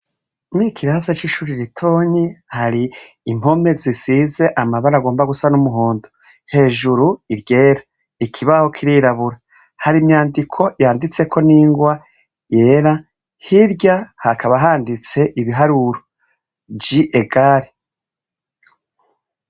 Muri Kirasi c'ishuri ritonyi hari impome zisize amabara agomba gusa n'umuhondo hejuru iryera ikibaho k'irirabura hari imyandiko yanditse ko n'ingwa yera hirya hakaba handitse ibiharuro ,J egare.